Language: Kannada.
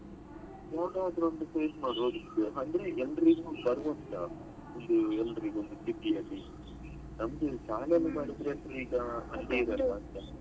Photo ಆದ್ರು ಒಂದು paste ಮಾಡಬೋದಿತ್ತು ಅಂದ್ರೆ ಎಲ್ರಿಗು ಒಂದ್ ಎಲ್ರಿಗು ನಮ್ದು channel ಮಾಡಿದ್ರೇ ಈಗ ಹದಿನೈದು ಅಷ್ಟೇ ಆಗತ್ತೆ.